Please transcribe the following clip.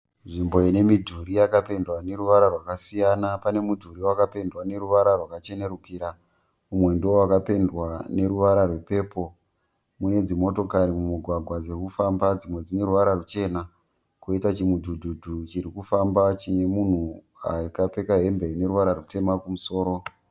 Nzvimbo ine midhuri yakapendwa neruvara rwakasiyana . Pane mudhuri wakapendwa neruvara rwakachenerukira. Umwe ndowakapendwa neruvara rwepepo. Kune dzimotokari mumugwagwa dziri kufamba dzimwe dzine ruvara ruchena . Koita chimudhudhudhu chirifamba chine munhu akapfeka hembe ine ruvara rutema kumusoro .